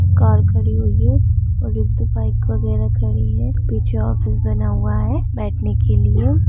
Car खड़ी हुई है और एक दौ बाइक वगैरह खड़ी है पीछे ऑफिस बना हुआ है बैठने के लिए।